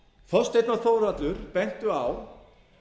þorsteinn og þórhallur bentu á